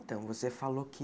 Então, você falou que